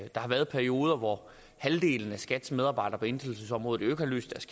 der har været perioder hvor halvdelen af skats medarbejdere på inddrivelsesområdet ikke har løst